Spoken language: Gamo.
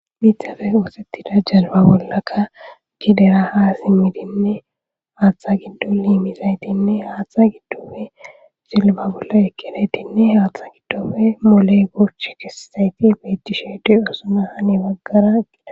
Biithafe oosettida jazba bollakka gidera ha simmidinne haaththa giddoiimizaytinne haaththa giddofe silba bolla ekkinettinne haaththa giddofe mole gurch kissayti beyttishe di osuna hani baggara gela.